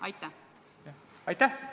Aitäh!